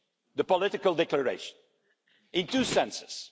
the political declaration in two senses.